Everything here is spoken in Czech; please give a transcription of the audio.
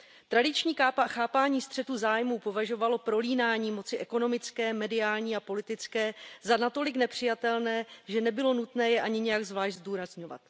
Tradiční chápání střetu zájmu považovalo prolínání moci ekonomické, mediální a politické za natolik nepřijatelné, že nebylo nutné je ani nijak zvlášť zdůrazňovat.